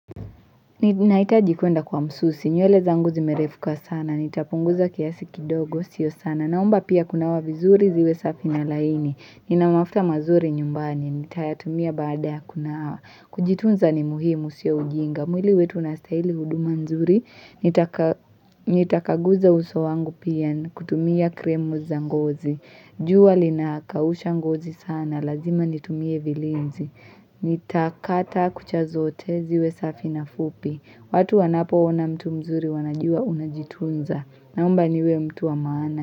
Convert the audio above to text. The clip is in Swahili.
Nahitaji kwenda kwa msusi, nywele zangu zimerefuka sana, nitapunguza kiasi kidogo, sio sana, naomba pia kunawa vizuri ziwe safi na laini, nina mafuta mazuri nyumbani, nitayatumia baada ya kunawa, kujitunza ni muhimu sio ujinga, mwili wetu unastahili huduma nzuri, nitakaguza uso wangu pia kutumia krimu za ngozi, jua linakausha ngozi sana, lazima nitumie vilizi, Nitakata kucha zote ziwe safi na fupi watu wanapoona mtu mzuri wanajua unajitunza Naomba niwe mtu wa maana.